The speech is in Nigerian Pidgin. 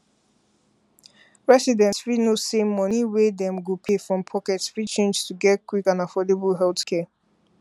residents fit know say money wey dem go pay from pocket fit change to get quick and affordable healthcare